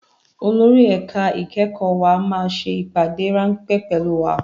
Olórí ẹ̀ka ìkẹ́kọ̀ọ́ wa máa ṣe ìpàdé ráńpẹ́ pẹ̀lú wa